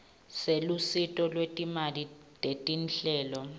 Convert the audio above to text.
selusito lwetimali tetinhlelo